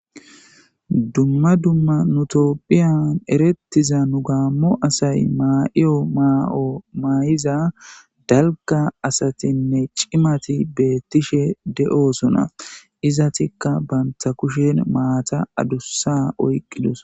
Dumma dumma nutopphiyan erettiza nu gaammo asay ma'iyo ma'o maa'iza dalga asatinne cimati beettishe de'osuna izatikka banta kushen maata adussa oyqqidus.